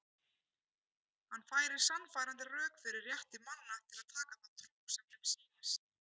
Hann færir sannfærandi rök fyrir rétti manna til að taka þá trú sem þeim sýnist.